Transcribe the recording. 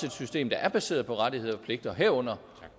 et system der er baseret på rettigheder og pligter herunder